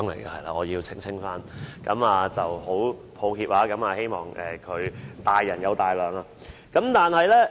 我要首先澄清，很抱歉，希望他大人有大量。